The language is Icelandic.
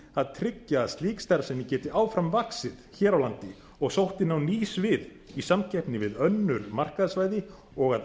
að tryggja að slík starfsemi geti áfram vaxið hér á landi og sótt inn á ný svið í samkeppni við önnur markaðssvæði og að